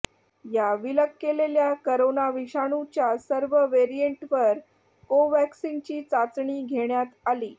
या विलग केलेल्या करोना विषाणूच्या सर्व व्हेरियंटवर कोव्हॅक्सिनची चाचणी घेण्यात आली